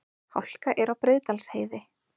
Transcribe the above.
Hálka er á Breiðdalsheiði